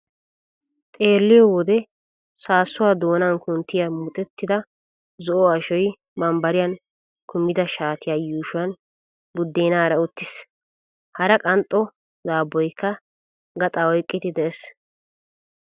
Xeelliyo wode saassuwa doonan kunttiya muxetta zo'o ashoy bambbariyan kumida shaatiya yuushuwan buddeenaara uttiis. Hara qanxxo daabboykka gaxaa oyqqidi de'es.